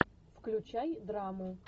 включай драму